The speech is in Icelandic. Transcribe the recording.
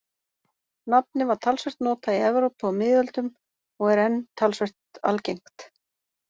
Nafnið var talsvert notað í Evrópu á miðöldum og er enn talsvert algengt.